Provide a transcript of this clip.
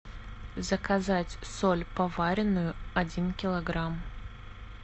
заказать соль поваренную один килограмм